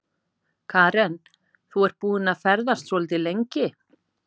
Karen: Þú ert búinn að ferðast svolítið lengi?